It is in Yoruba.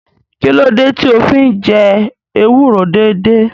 Kí ló dé tí o fi ń jẹ ewúro déédéé?